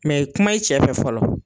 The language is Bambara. Mɛ kuma i cɛ fɛ fɔlɔ.